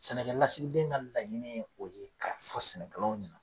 Sɛnɛkɛlasigiden ka laɲini o ye, ka fɔ sɛnɛkɛlaw ye